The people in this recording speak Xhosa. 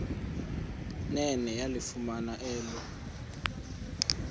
nene yalifumana elo